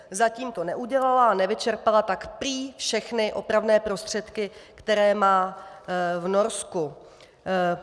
Zatím to neudělala, a nevyčerpala tak prý všechny opravné prostředky, které má v Norsku.